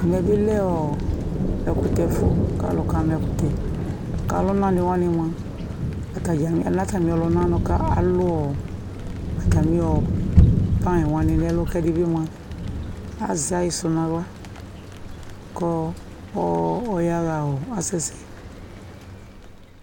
Ɛmɛ bɩ lɛ ɔɔ ɛkʋtɛfʋ k'alʋ k'amɛkʋtɛ K'ɔlʋnanɩ wanɩ mʋa atadza kana atamɩ ɔlʋnanɩ k'alʋ ɔɔ atamɩ ɔ panɩwani n'ɛlʋ k'ɛdɩ bɩ azɛ ayɩsʋ n'aɣla kɔ ɔ ɔyaɣa ɔɔ asɛ sɛ